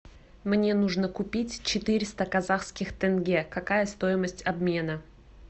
мне нужно купить четыреста казахских тенге какая стоимость обмена